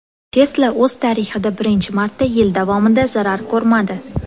Tesla o‘z tarixida birinchi marta yil davomida zarar ko‘rmadi.